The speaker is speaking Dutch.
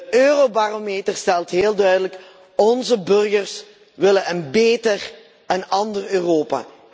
De eurobarometer stelt heel duidelijk onze burgers willen een beter, een ander Europa!